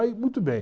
Aí, muito bem.